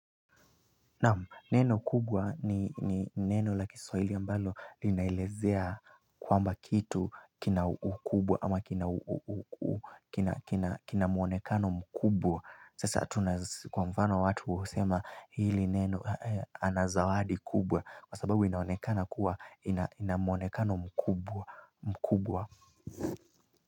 Neno kubwa ni neno la kiswahili ambalo linaelezea kwamba kitu kina ukubwa ama kina muonekano mkubwa. Sasa kwa mfano watu husema hili neno anazawadi kubwa kwa sababu inaonekana kuwa ina muonekano mkubwa.